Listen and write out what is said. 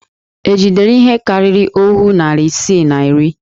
È jidere ihe karịrị òhú narị isii na iri?